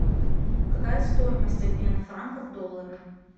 какая стоимость обмена франка в доллары